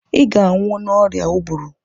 ị ga-anwụ n'oria ụbụrụ